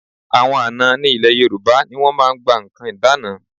Àwọn àna ní ilẹ̀ Yorùbá ni wọ́n máa ń gba nǹkan ìdána.